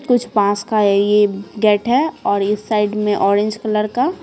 कुछ पास का ये अ गेट है और इस साइड में ऑरेंज कलर का --